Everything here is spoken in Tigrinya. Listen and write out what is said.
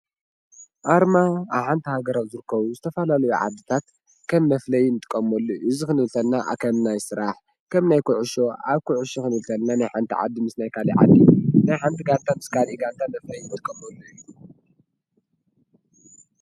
ኣርማ ኣብ ሓንቲ ሃገር ዝርከቡ ዝተፈላለዩ ዓድታት ከም መፍለይ እንጥቀመሉ እዩ፡፡ እዚ ክንብል ከለና ከም ናይ ስራሕ ከም ናይ ኩዕሾ ኣብ ኩዕሾ ክንብል ከለና ናይ ሓንቲ ዓዲ ምስ ካሊእ ዓዲ ናይ ሓንቲ ጋንታ ምስ ካሊእ ጋንታ መፍለይ እንጥቀመሉ እዩ፡፡